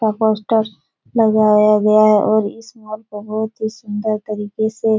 का पोस्टर लगाया गया है और इस मॉल को बहुत ही सुन्दर तरीके से --